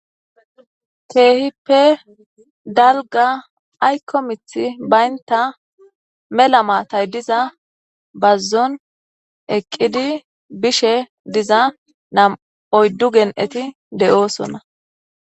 keehippe dalga ayko mith baynta mela maatay diza bazzon eqqidi bishe diza nam oyddu gen7eti de7oosonna